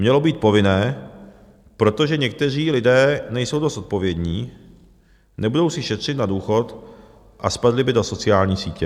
- mělo být povinné, protože někteří lidé nejsou dost zodpovědní, nebudou si šetřit na důchod a spadli by do sociální sítě.